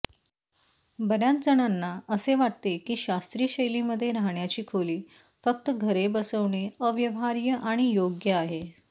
बर्याचजणांना असे वाटते की शास्त्रीय शैलीमध्ये राहण्याची खोली फक्त घरे बसवणे अव्यवहार्य आणि योग्य आहे